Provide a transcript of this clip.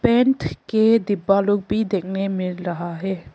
Paint के दीवालो पे देखने मिल रहा है।